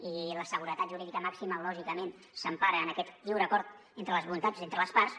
i la seguretat jurídica màxima lògicament s’empara en aquest lliure acord entre les voluntats entre les parts